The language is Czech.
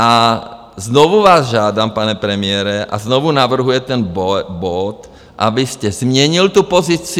A znovu vás žádám, pane premiére, a znovu navrhuju ten bod, abyste změnil tu pozici.